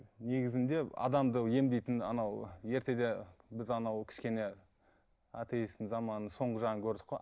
негізінде адамды емдейтін анау ертеде біз анау кішкене атеисттің заманы соңғы жағын көрдік қой